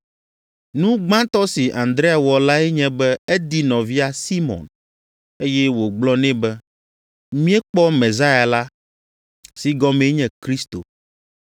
Nu gbãtɔ si Andrea wɔ lae nye be edi nɔvia Simɔn, eye wògblɔ nɛ be, “Míekpɔ Mesia la” (si gɔmee nye Kristo).